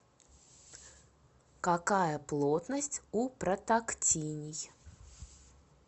какая плотность у протактиний